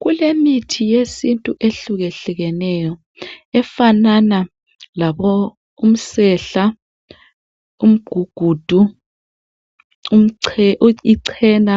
Kulemithi yesintu ehlukehlukeneyo efana lomsehla, umgugudu, icena